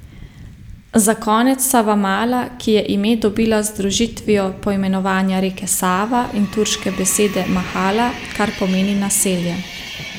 Za konec Savamala, ki je ime dobila z združitvijo poimenovanja reke, Sava, in turške besede mahala, kar pomeni naselje.